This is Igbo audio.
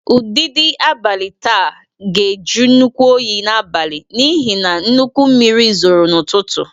Ụdidi abalị taa ga-ajụ nnukwu oyi n’abalị n’ihi na nnukwu mmiri zoro n’ụtụtụ.